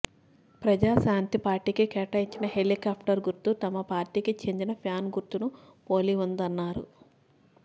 ప్రజా శాంతి పార్టీకి కేటాయించిన హెలికాప్టర్ గుర్తు తమ పార్టీకి చెందిన ఫ్యాన్ గుర్తును పోలి ఉందన్నారు